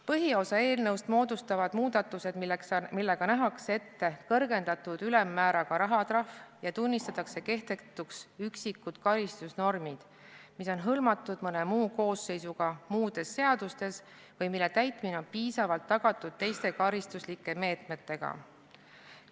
Põhiosa eelnõust moodustavad muudatused, millega nähakse ette kõrgendatud ülemmääraga rahatrahv ja tunnistatakse kehtetuks üksikud karistusnormid, mis on hõlmatud mõne muu koosseisuga muudes seadustes või mille täitmine on piisavalt tagatud teiste karistuslike meetmetega.